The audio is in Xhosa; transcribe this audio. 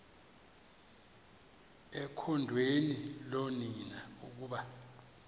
ekhondweni loonina ukuba